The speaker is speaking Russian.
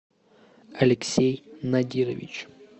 алексей надирович